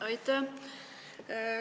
Aitäh!